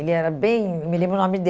Ele era bem... Eu me lembro o nome